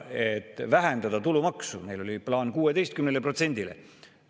Neil oli plaan vähendada tulumaksu 16%-le.